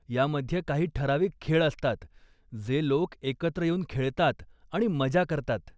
यामध्ये काही ठराविक खेळ असतात, जे लोकं एकत्र येऊन खेळतात आणि मजा करतात.